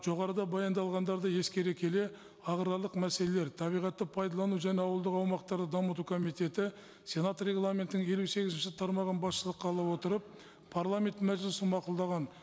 жоғарыда баяндалғандарды ескере келе аграрлық мәселелер табиғатты пайдалану және ауылдық аумақтарды дамыту комитеті сенат регламентінің елу сегізінші тармағын басшылыққа ала отырып парламент мәжілісі мақұлдаған